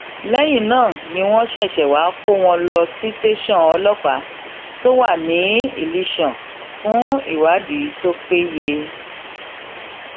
lẹyìn náà ni wọn ṣẹṣẹ wáá kó wọn lọ sí tẹsán ọlọpàá tó um wà ní ilásàn fún ìwádìí um tó péye